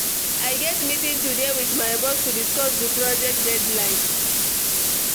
I get meeting today with my boss to discuss di project deadline.